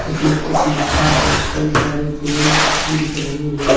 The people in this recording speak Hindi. उसमें कुछ लिखा है कई सारे पेड़ दिख रहे हैं।